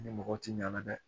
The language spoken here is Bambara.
Ni mɔgɔw ti ɲɛnna dɛ